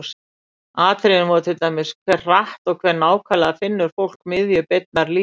Atriðin voru til dæmis: Hve hratt og hve nákvæmlega finnur fólk miðju beinnar línu?